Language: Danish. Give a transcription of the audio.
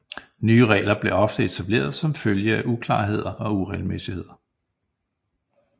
Nye regler blev ofte etableret som følge af uklarheder og uregelmæssigheder